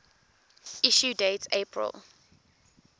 issue date april